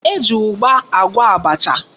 E ji ugba agwo abacha.